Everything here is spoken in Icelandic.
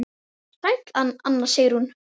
Sæl Anna Sigrún.